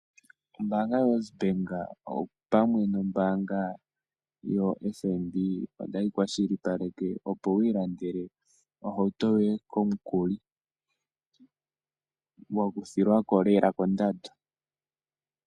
Ombaanga yoWesBank opamwe nombaanga yoFNB otayi kwashilipaleke opo wu ilandele ohauto yoye komukuli, wakuthilwa ko lela kondando.